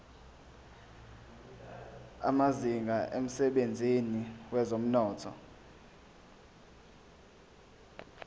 amazinga emsebenzini wezomnotho